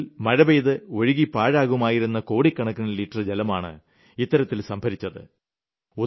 മൈതാനത്തിൽ മഴ പെയ്ത് ഒഴുകി പാഴാകുമായിരുന്ന കോടിക്കണക്കിന് ലിറ്റർ ജലമാണ് ഇത്തരത്തിൽ സംഭരിച്ചത്